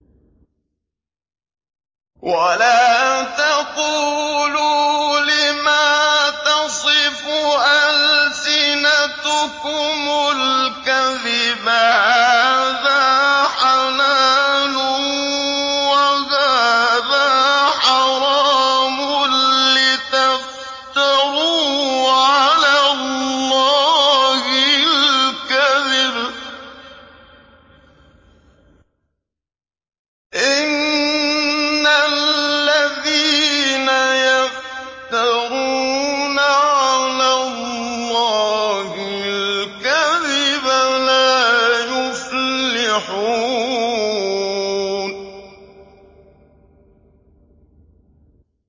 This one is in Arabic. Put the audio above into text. وَلَا تَقُولُوا لِمَا تَصِفُ أَلْسِنَتُكُمُ الْكَذِبَ هَٰذَا حَلَالٌ وَهَٰذَا حَرَامٌ لِّتَفْتَرُوا عَلَى اللَّهِ الْكَذِبَ ۚ إِنَّ الَّذِينَ يَفْتَرُونَ عَلَى اللَّهِ الْكَذِبَ لَا يُفْلِحُونَ